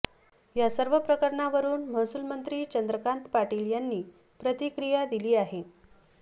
या सर्व प्रकरणावरून महसूलमंत्री चंद्रकांत पाटील यांनी प्रतिक्रिया दिली आहे